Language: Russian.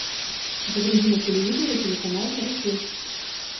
загрузи на телевизоре телеканал карусель